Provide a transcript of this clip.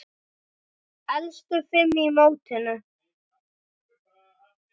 Efstu fimm í mótinu